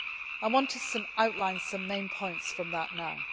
I want to outline some main points from that